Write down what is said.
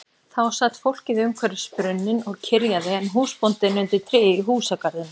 Þá sat fólkið umhverfis brunninn og kyrjaði en húsbóndinn undir tré í húsagarðinum.